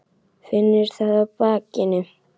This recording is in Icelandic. Finnur það á bakinu.